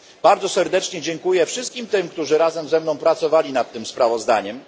Bardzo serdecznie dziękuję wszystkim, którzy razem ze mną pracowali nad tym sprawozdaniem.